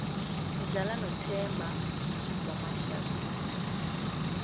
sidlala nothemba wamasharks